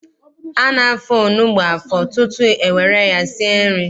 A na-afọ onugbu afọ tutu e were ya sie nri.